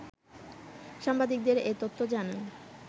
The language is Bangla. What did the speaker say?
সাংবাদিকদের এ তথ্য জানান